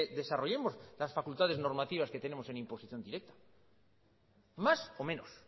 desarrollemos las facultades normativas que tenemos en imposición directa más o menos